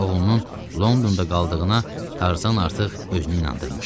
Oğlunun Londonda qaldığına Tarzan artıq özünü inandırmışdı.